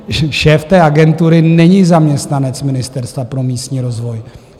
Šéf té agentury není zaměstnanec Ministerstva pro místní rozvoj.